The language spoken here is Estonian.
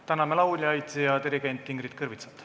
Täname lauljaid ja dirigent Ingrid Kõrvitsat.